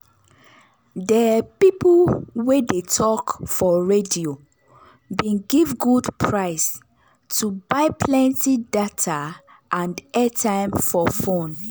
de people wey dey tok for radio bin give good price to buy plenty data and airtime for fone.